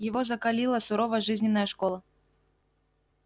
его закалила суровая жизненная школа